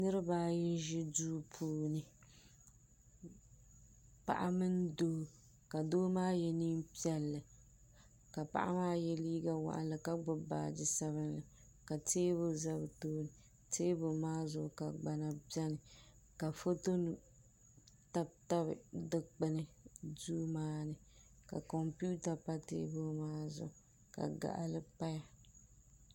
Niriba ayi n ʒi duu puuni paɣa mini doo ka doo maa ye niɛn'piɛlli ka paɣa maa ye liiga ʒee ka gbibi baaji sabinli la teebuli za bɛ tooni teebuli maa zuɣu ka gbana biɛni ka foto nima tabi tabi dikpini duu maa ni ka kompita pa teebuli maa zuɣu ka gaɣali paya.